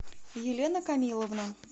елена камиловна